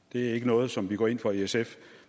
det er ikke noget som vi går ind for i sf